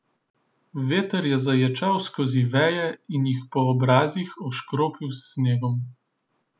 Veter je zaječal skozi veje in jih po obrazih oškropil s snegom.